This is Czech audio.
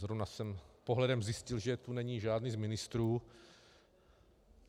Zrovna jsem pohledem zjistil, že tu není žádný z ministrů.